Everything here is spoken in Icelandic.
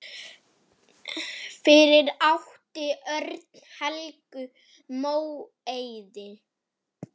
Fyrir átti Örn Helgu Móeiði.